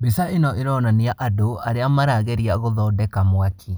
Mbica ĩno ĩronania andũ arĩa marageria gũthondeka mwaki.